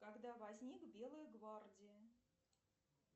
когда возник белая гвардия